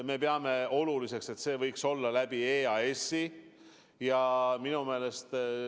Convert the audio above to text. Me peame oluliseks, et see käib EAS-i kaudu.